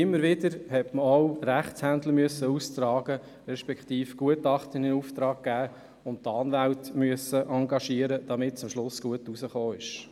Immer wieder mussten Gutachten aufgegeben und Anwälte engagiert werden, damit schliesslich eine gute Lösung resultierte.